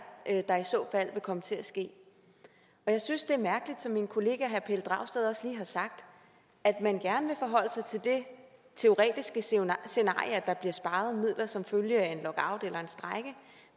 der i så fald vil komme til at ske jeg synes det er mærkeligt som min kollega herre pelle dragsted også lige har sagt at man gerne vil forholde sig til det teoretiske scenarie scenarie at der bliver sparet midler som følge af en lockout eller en strejke